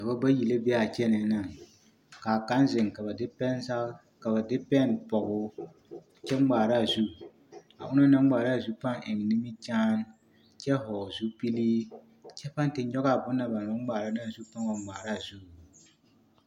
Dɔbɔ bayi la be a kyɛnɛɛ naŋ, k'a kaŋ zeŋ ka ba de pɛne pɔge o kyɛ ŋmaara a zu a onaŋ naŋ ŋmaara a zu pãã eŋ nimikyaane kyɛ hɔɔle zupili kyɛ pãã te nyɔge a bona banaŋ ŋmaara naa zu a pãã wa ŋmaara a zu.